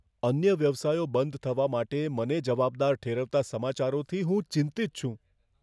અન્ય વ્યવસાયો બંધ થવા માટે મને જવાબદાર ઠેરવતા સમાચારોથી હું ચિંતિત છું.